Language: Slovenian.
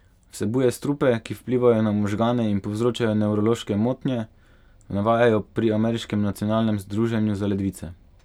Vsebuje strupe, ki vplivajo na možgane in povzročajo nevrološke motnje, navajajo pri ameriškem Nacionalnem združenju za ledvice.